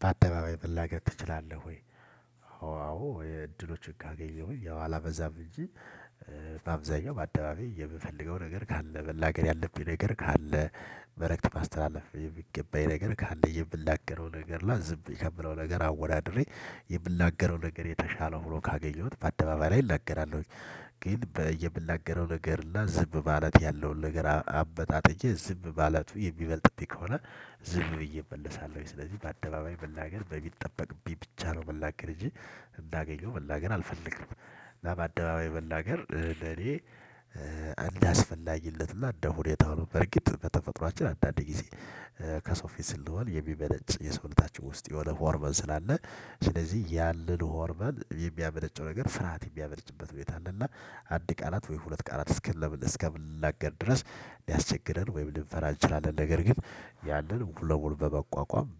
በአደባባይ መናገር ትችላለህ ወይ? አዎ እድሎችን ካገኘሁኝ ያው አላበዛም እንጂ። በአብዛኛው በአደባባይ የምፈልገው ነገር ካለ መናገር ያለብኝ ነገር ካለ መልእክት ማስተላለፍ የሚገባኝ ነገር ካለ የምናገረው ነገር ና ዝም የምለው ነገር አወዳድሬ የምናገረው ነገር የተሻለ ሆኖ ካገኘሁት በአደባባይ ላይ እናገራለሁኝ። ግን የምናገረው ነገርና ዝም ማለት ያለውን ነገር አመጣጥኜ ዝም ማለቱ የሚበልጥብኝ ከሆነ ዝም ብዬ እመለሳለሁኝ። ስለዚህ በአደባባይ መናገር በሚጠበቅብኝ ብቻ ነው ሚናገር እንጂ እንዳገኘው መናገር አልፈልግም። እና በአደባባይ መናገር ለኔ እንዳስፈላጊነቱና እንደ ሁኔታው በርግጥ በተፈጥሮአችን አንዳንዴ ጊዜ ከሰው ፊት ስንሆን የሚመነጭ የሰውታችን ውስጥ የሆነ ሆርሞን ስላለ ስለዚህ ያንን ሆርሞን የሚያመነጨው ነገር ፍርሃት የሚያመነጭበት ሁኔታ አለ እና አንድ ቃላት ወይ ሁለት ቃላት እስከምንናገር ድረስ ሊያስቸግረን ወይም ሊንፈራ እንችላለን ነገር ግን ያንን ሙሉ በሙሉ በመቋቋም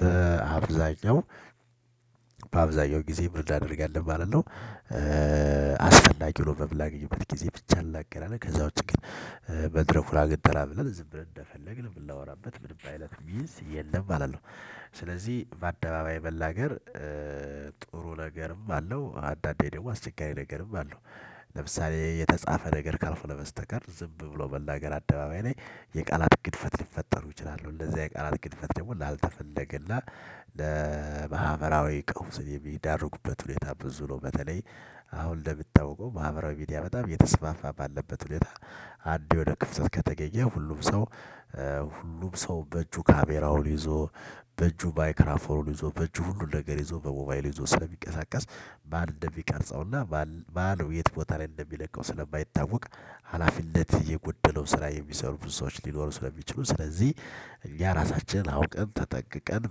በአብዛኛው በአብዛኛው ጊዜ ምን አናደርጋለን ማለት ነው። አስፈላጊ ሆኖ በምናገኝበት ጊዜ ብቻ እንናገራለን ከዛ ውጪ ግን መድረኩን አግኝተናል ብለን ዝም ብለን እንደፈለግን ብናወራበት ምንም አይነት ሚንስ የለም ማለት ነው። ስለዚህ በአደባባይ መናገር ጥሩ ነገርም አለው አዳንዴ ደግሞ አስቸጋሪ ነገርም አለው። ለምሳሌ የተጻፈ ነገር ካልሆነ በስተቀር ዝም ብሎ መናገር አደባባይ ላይ የቃላት ግድፈት ሊፈጠሩ ይችላሉ እንደዚህ የቃላት ግድፈት ደግሞ ላልተፈለገላና ለማህበራዊ ቀውስ የሚዳርጉበት ሁኔታ ብዙ ነው። በተለይ አሁን እንደምታውቀው ማህበራዊ ሚዲያ በጣም እየተስፋፋ ባለበት ሁኔታ አንድ የሆነ ክፍተት ከተገኘ ሁሉም ሰው ሁሉም ሰው በእጁ ካሜራውን ይዞ በእጁ ማይክራፎኑን ይዞ በእጁ ሁሉን ነገር ይዞ በሞባይሉ ይዞ ስለሚንቀሳቀስ ማን እንደሚቀርጸውና ማን የት ቦታ ላይ እንደሚለቀው ስለማይታወቅ ሀላፊነት የጎደለው ስራ የሚሰሩ ብዙ ሰዎች ሊኖሩ ስለሚችሉ ስለዚህ እኛ ራሳችንን አውቀን ተጠንቅቀን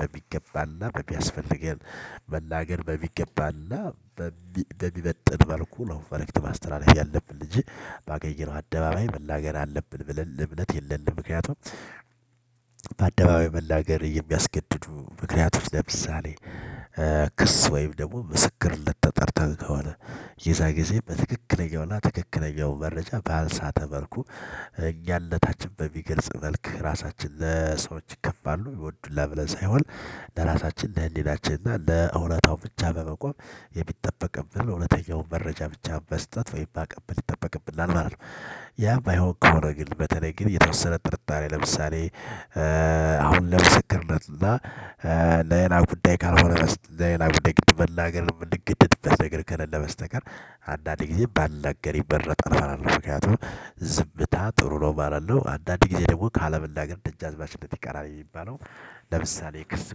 በሚገባንና በሚያስፈልገን መናገር በሚገባንና በሚመጥን መልኩ ነው መልእክት ማስተላለፍ ያለብን እንጂ። ባገኘነው አደባባይ መናገር አለብን ብለን እምነት የለንም። ምክንያቱም መናገር የሚያስገድዱ ምክንያቱም ለምሳሌ ክስ ወይም ደግሞ ምስክርነት ተጠርተህ ከሆነ የዛ ጊዜ በትክክለኛውና ትክክለኛው መረጃ ባልሳተ መልኩ እኛነታችንን በሚገልጽ መልኩ ራሳችን ለሰዎች ይከፋሉ ይወዱናል ለብለን ሳይሆን ለራሳችን ለህልናችን እና ለእውነታው ብቻ በመቆም የሚጠበቅብንን እውነተኛውን መረጃ ብቻ መስጠት ወይም ባቀብል ይጠበቅብልናል ማለት ነው። ያ ባይሆን ከሆነ ግን በተለይ ግን የተወሰነ ጥርጣሬ ለምሳሌ አሁን ለምስክርነት እና ለሌላ ጉዳይ ካልሆነ በስተ ለሌላ ጉዳይ ግድ መናገር ምንገደድበት ነገር ከለለ በስተቀር አንዳንዴ ጊዜ ባንናገር ይመረጣል ማለት ነው። ምክንያቱም ዝምታ ጥሩ ነው ይባላል አንዳንድ ጊዜ ደግሞ ካለመናገር ደጃዝማችነት ይቀራል የሚባለው። ለምሳሌ የክርስ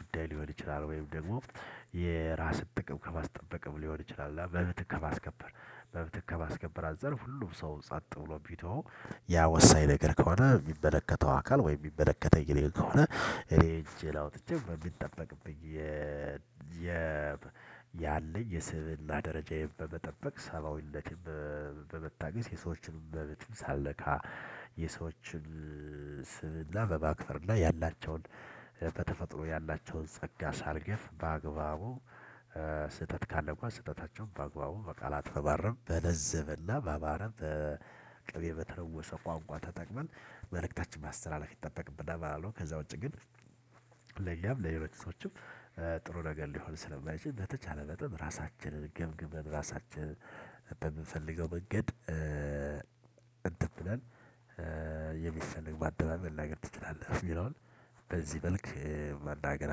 ጉዳይ ሊሆን ይችላል ወይም ደግሞ የራስን ጥቅም ከማስጠበቅም ሊሆን ይችላል መብትን ከማስከበር መብትን ከማስከበር አንፃር ሁሉ ሰው ጸጥ ብሎ ቢተወው ያ ወሳኝ ነገር ከሆነ የሚመለከተው አካል ወይ የሚመለከተኝ እኔን ከሆነ። እኔ እጄን አውጥቼ በሚጠበቅብኝ የ ያለኝ የስብዕና ደረጃዬን በመጠበቅ ሰብአዊነትን በመታገስ የሰዎችን መብት ሳልነካ የሰዎችን ስብዕና በማክበር እና ያላቸውን ተፈጥሮ ያላቸውን ጸጋ ሳልገፍ በአግባቡ ስህተት ካለ እንኳን ስህተታቸው በአግባቡ በቃላት በማረም በለዘበና በማረም ቅቤ በተለወሰ ቋንቋ ተጠቅመን መልእክታችን ማስተላለፍ ይጠበቅብናል ማለት ነው። ከዛ ውጪ ግን ለኛም ለሌሎች ሰዎችም ጥሩ ነገር ሊሆን ስለማይችል በተቻለ መጠን ራሳችንን ገምግመን ራሳችንን በምፈልገው መንገድ እንትን ብለን ማደባባይ መናገር ትችላለህ? ምለዉን በዚህ መልክ መናገር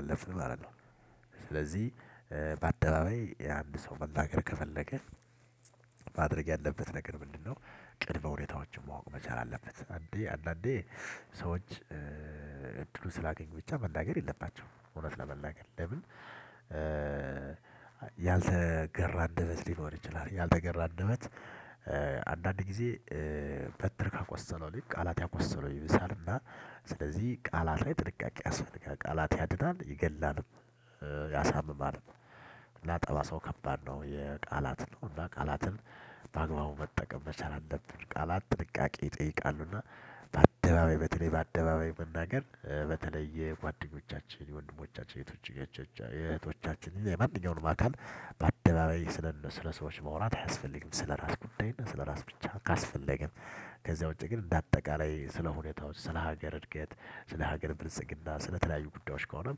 አለብን ማለት ነው። ስለዚህ በአደባባይ የአንድ ሰው መናገር ከፈለገ ማድረግ ያለበት ነገር ምንድነው? ቅድመ ሁኔታዎችን ማወቅ መቻል አለበት አንዴ አንዳንዴ ሰዎች እድሉ ስላገኙ ብቻ መናገር የለባቸውም። እውነት ለመናገር ለምን? ያልተገራ አንደበት ሊኖር ይችላል ያልተገራ አንደበት አንዳንድ ጊዜ በትር ካቆሰለው ልክ ቃላት ያቆሰለው ይብሳልና ስለዚህ ቃላት ላይ ጥንቃቄ ያስፈልጋል። ቃላት ያድናል ይገላል ያሳምማል። ጠባሳው ከባድ ነው የቃላትን ነው እና ቃላትን በአግባቡ መጠቀም መቻል አለብን ቃላት ጥንቃቄ ይጠይቃሉና። በአደባባይ በተለይ በአደባባይ መናገር በተለይ የጓደኞቻችን የወንድሞቻችን የእህቶቻችን የማንኛውንም አካል በአደባባይ ስለ ሰዎች ማውራት አያስፈልግም ስለ ራስ ጉዳይና ስለ ራስ ብቻ ካስፈለገን ከዛ ውጪ ግን እንደ አጠቃላይ ስለ ሁኔታዎች ስለ ሀገር እድገት ስለ ሀገር ብልጽግና ስለተለያዩ ጉዳዮች ከሆነ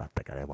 በአጠቃላይ